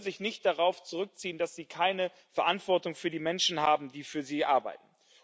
sie können sich nicht darauf zurückziehen, dass sie keine Verantwortung für die Menschen haben, die für sie arbeiten.